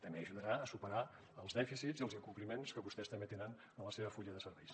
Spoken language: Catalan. també ajudarà a superar els dèficits i els incompliments que vostès també tenen al seu full de serveis